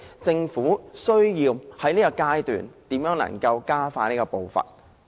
政府需要在這方面加快步伐。